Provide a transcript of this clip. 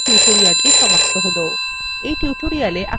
এখানেই libreoffice draw এর এই tutorial সমাপ্ত হল